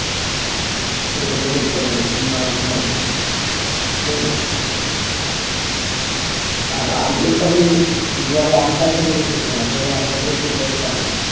যে তোদেরকে ধরে ফেলবো team maneger আমরাই হয়ে যাবো ঠিক আছে আরে IPL তো আমি দুই হাজার আট সাল থেকে দেখছি খেলা দুই হাজার আট সাল থেকে KKR এর support র